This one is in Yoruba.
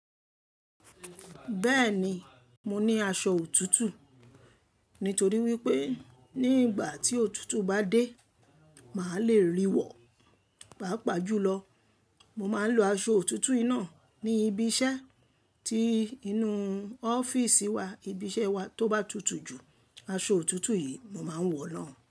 Bẹ́ẹ̀ni, mo ní aṣọ òtútù nítorí wípé ní ìgbà tí òtútù bá dé, màá le ríwọ̀. Páápàá jùlọ, mo máa ń lo aṣọ òtútù yìí náà ní ibi iṣẹ́ tí inú ọ́fíísì wa, ibi iṣẹ́ wá tó bá tutù ju. Aṣọ òtútù yìí mo máa ń wọ̀ náà.